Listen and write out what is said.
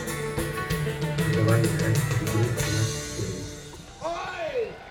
давай играть в игру смарт сервис